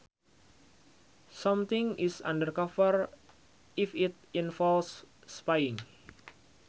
Something is undercover if it involves spying